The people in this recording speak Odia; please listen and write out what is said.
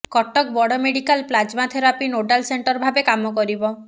କଟକ ବଡ medical plasma therapy nodal centre ଭାବେ କାମ କରିବ